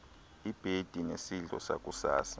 ibhedi nesidlo sakusasa